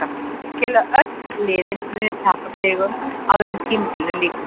Ég tel að öll liðin muni tapa stigum áður en tímabilinu lýkur.